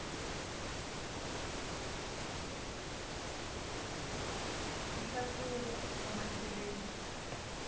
nhlahluvo wa macheleni